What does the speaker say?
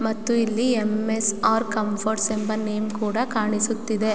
ಮತ್ತು ಇಲ್ಲಿ M S _R Comforts ಎಂಬ ನೇಮ್ ಕೂಡ ಕಾಣಿಸುತ್ತಿದೆ.